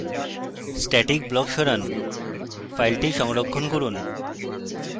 static block সরান file সংরক্ষণ করুন